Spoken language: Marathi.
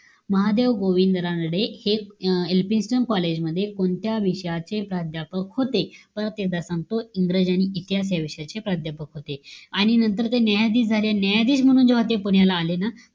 महादेव गोविंद रानडे हे अं elfinesten college मध्ये, कोणत्या विषयाचे प्राध्यापक होते? परत एकदा सांगतो इंग्रजी आणि इतिहास ह्या विषयाचे प्राध्यापक होते. आणि नंतर ते न्यायाधीश झाले. आणि न्यायाधीश म्हणून जेव्हा ते पुण्याला आले ना,